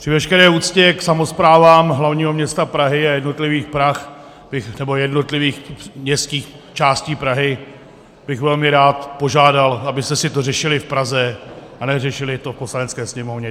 Při veškeré úctě k samosprávám hlavního města Prahy a jednotlivých městských částí Prahy bych velmi rád požádal, abyste si to řešili v Praze a neřešili to v Poslanecké sněmovně.